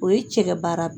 O ye cɛ ka baara